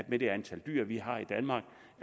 med det antal dyr vi har i danmark